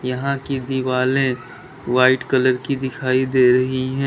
यहां की दिवालें व्हाइट कलर की दिखाई दे रही हैं।